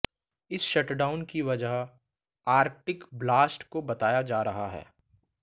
इस शटडाउन की वजह आर्कटिक ब्लास्ट को बताया जा रहा है